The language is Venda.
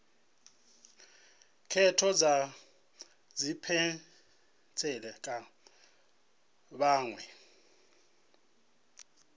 khetho dza tshipentshela kha vhaṅwe